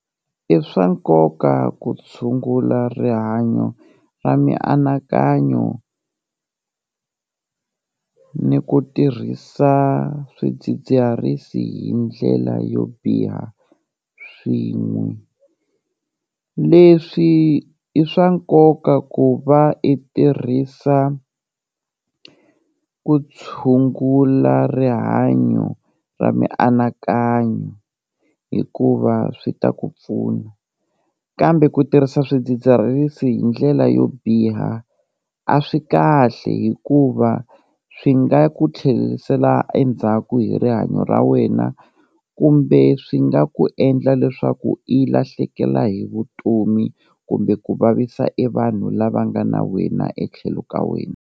I swa nkoka ku tshungula rihanyo ra mianakanyo ni ku tirhisa swidzidziharisi hi ndlela yo biha swin'we, leswi i swa nkoka ku va i tirhisa ku tshungula rihanyo ra mianakanyo hikuva swi ta ku pfuna, kambe ku tirhisa swidzidziharisi hi ndlela yo biha a swi kahle hikuva swi nga ku tlherisela endzhaku hi rihanyo ra wena kumbe swi nga ku endla leswaku i lahlekela hi vutomi kumbe ku vavisa e vanhu lava nga na wena etlhelo ka wena.